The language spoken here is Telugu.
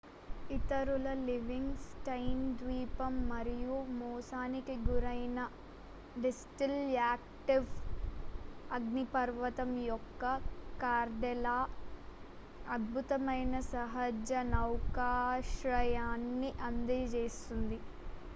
ఇతరులు లివింగ్ స్టన్ ద్వీపం మరియు మోసానికి గురైన దిస్టిల్-యాక్టివ్ అగ్నిపర్వతం యొక్క కాల్డెరా అద్భుతమైన సహజ నౌకాశ్రయాన్ని అందిస్తుంది